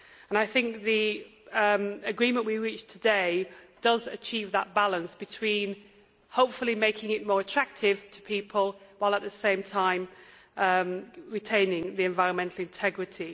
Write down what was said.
I think the agreement we reached today does achieve that balance between, hopefully, making it more attractive to people, while at the same time retaining the environmental integrity.